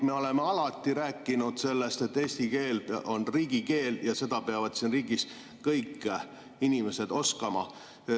Me oleme alati rääkinud sellest, et eesti keel on riigikeel ja seda peavad siin riigis kõik inimesed oskama.